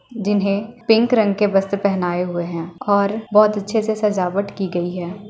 जिन्हें पिंक रंग के वस्त्र पहनाये हुए है और बहोत अच्छे से सजावट की गयी है।